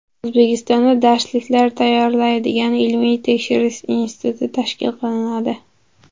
O‘zbekistonda darsliklar tayyorlaydigan ilmiy-tekshirish instituti tashkil qilinadi.